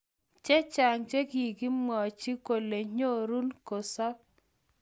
chechang che kokimwanyi kole nyorun kosab